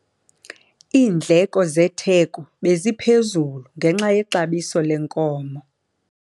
Iindleko zetheko beziphezulu ngenxa yexabiso lenkomo.